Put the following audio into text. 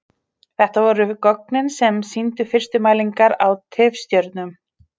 Þetta voru gögnin sem sýndu fyrstu mælingar á tifstjörnum.